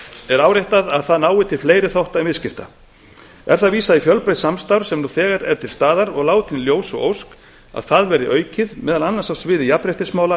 er áréttað að það nái til fleiri þátta en viðskipta er þar vísað í fjölbreytt samstarf sem nú þegar er til staðar og látin í ljós ósk að það verði aukið meðal annars á sviði jafnréttismála